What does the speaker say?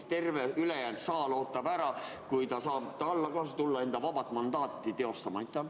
Kas terve ülejäänud saal ootab ära, kuni ta saab tagasi tulla enda vaba mandaati teostama?